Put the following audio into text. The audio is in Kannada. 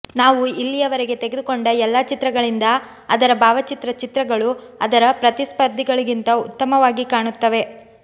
ನಾವು ಇಲ್ಲಿಯವರೆಗೆ ತೆಗೆದುಕೊಂಡ ಎಲ್ಲಾ ಚಿತ್ರಗಳಿಂದ ಅದರ ಭಾವಚಿತ್ರ ಚಿತ್ರಗಳು ಅದರ ಪ್ರತಿಸ್ಪರ್ಧಿಗಳಿಗಿಂತ ಉತ್ತಮವಾಗಿ ಕಾಣುತ್ತವೆ